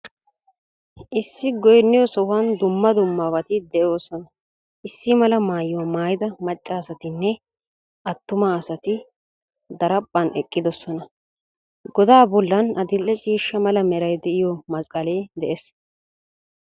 Issi goynniyo sohuwan dumma dummabati de'oosona. Issi mala maayuwa maayida macca asatinne attuma asati daraphphan eqqidoosona. Godaa bollan adil"e ciishsha mala meray de'iyo masqqalee de'ees.